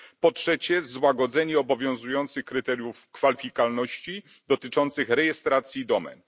Po trzecie, złagodzenie obowiązujących kryteriów kwalifikowalności dotyczących rejestracji domen.